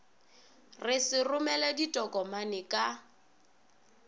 se re romele ditokomane ka